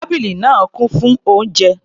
Tábìlì náà kún fún oúnjẹ.